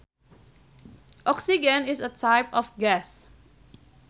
Oxygen is a type of gas